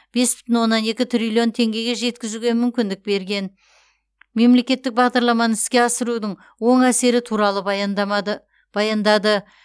бес бүтін оннан екі триллион теңгеге дейін жеткізуге мүмкіндік берген мемлекеттік бағдарламаны іске асырудың оң әсері туралы баяндады